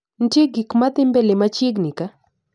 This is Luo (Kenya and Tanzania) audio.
Ntie gikmadhii mbele machiegni kaa?